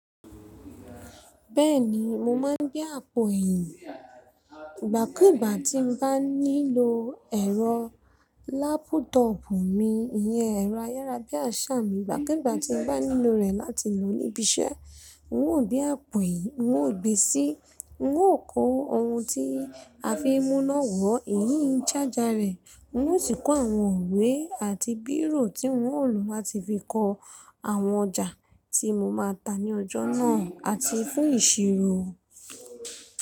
Bẹ́ẹ̀ni mo máa ń gbé àpò ẹ̀yìn. Ìgbà kú ìgbà tí n bá ní lo ẹ̀rọ lápútọọ̀pù mi, ìyẹn ẹ̀rọ ayára bí àṣà mi. Ìgbà kú ìgbà tí n bá nílò rẹ̀ láti lò ó níbi iṣẹ́, n ò gbé àpò ẹ̀yìn, n ò gbe sí, n ò kó ohun ti a fi ń múná wọ ẹ̀yín ṣájà rẹ̀. N ò sì kó àwọn ìwe àti bírò tí n ò lò láti fi kọ àwọn ọjà tí mo máa tà ní ọjọ́ náà àti fún ìṣirò.